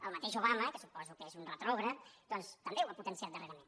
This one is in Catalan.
el mateix obama que suposo que és un retrògrad doncs també ho ha potenciat darrerament